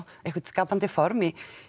eitthvað skapandi formaður